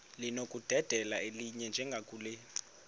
linokudedela elinye njengakule